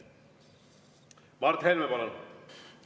Mart Helme, palun!